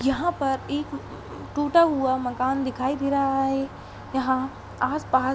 यहाँ पर एक टुटा हुआ मकान दिखाई दे रहा है। यहाँ आस पास --